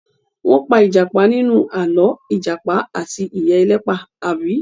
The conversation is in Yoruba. Wọ́n pa ìjàpá nínú àlọ́ "Ìjàpá àti Ìyá Ẹlẹ́pà", àbí?